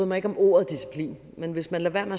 mig om ordet disciplin men hvis man lader